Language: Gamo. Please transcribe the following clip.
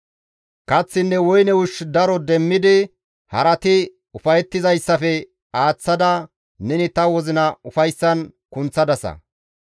Kaththinne woyne ushshu daro demmidi harati ufayettizayssafe aaththada neni ta wozina ufayssan kunththadasa.